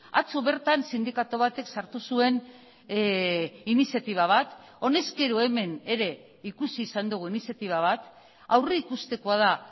atzo bertan sindikatu batek sartu zuen iniziatiba bat honezkero hemen ere ikusi izan dugu iniziatiba bat aurrikustekoa da